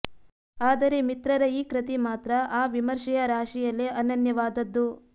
ಆದರೆ ಮಿತ್ರರ ಈ ಕೃತಿ ಮಾತ್ರ ಆ ವಿಮರ್ಶೆಯ ರಾಶಿಯಲ್ಲೇ ಅನನ್ಯವಾದದ್ದು